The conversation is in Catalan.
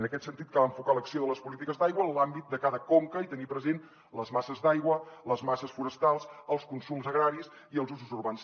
en aquest sentit cal enfocar l’acció de les polítiques d’aigua en l’àmbit de cada conca i tenir present les masses d’aigua les masses forestals els consums agraris i els usos urbans